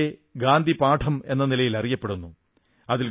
അത് പൊതുവെ ഗാന്ധിപാഠം എന്ന നിലയിൽ അറിയപ്പെടുന്നു